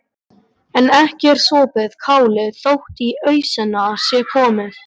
En ekki er sopið kálið þótt í ausuna sé komið.